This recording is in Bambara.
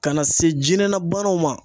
Ka na se jinɛna banaw ma